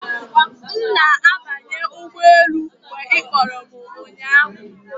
M na-abanye ụgbọ elu mgbe ị kpọrọ m ụnyahụ